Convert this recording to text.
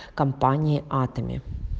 компания атоми